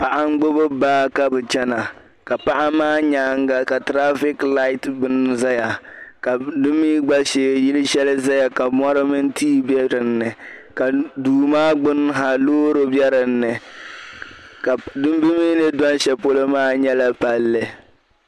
Paɣa n gbubi baa ka bi chana ka paɣa maa nyaanga ka traffic light zaya ka di mi gba shee yili shɛli zaya ka mori mini tia be dinni ka duu maa gbun ha ka loori be dinni bi mi ni doli shɛli polo maa nyela palli.